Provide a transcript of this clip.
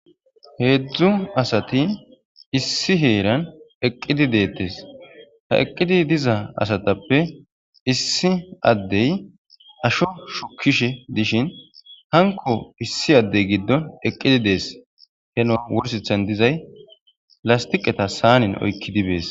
Heedzdzu asati issi heeran eqqidi deettes ha eqqidi diza asatappe issi addey asho shukishe dishin hanko issi addey giddon eqqidi dees he no wursethan dizay lastiqeta saanin oykki dibees.